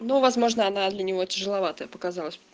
ну возможно она для него тяжеловатая показалась